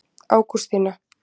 Ágústína